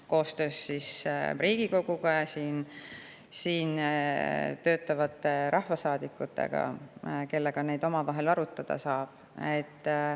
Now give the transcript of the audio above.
Seda tehakse koostöös Riigikoguga ja siin töötavate rahvasaadikutega, kellega neid arutada saab.